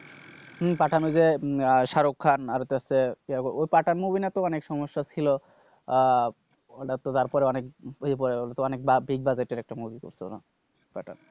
হম পাঠান ওই যে উম শাহরুখ খান আর হইতাছে ইয়ে ওই পাঠান movie নিয়াতো অনেক সমস্যা ছিল, আহ ওটাতো তারপরে অনেক অনেক big budget এর একটা movie করছে ওরা। পাঠান,